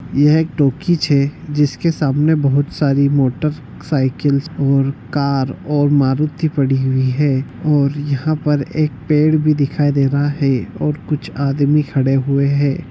यह एक टोकीज हैं जिसके सामने बहुत सारी मोटरसाइकिल और कार और मारुति खड़ी हुई है और यहाँ पर एक पेड़ भी दिखाई दे रहा है और कुछ आदमी भी खड़े हुए हैं।